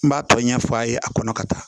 N b'a tɔ ɲɛ f'a ye a kɔnɔ ka taa